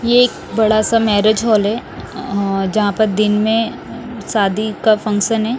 ये एक बड़ा सा मैरिज हाल है अं जहां पे दिन में अं शादी का फंक्शन है।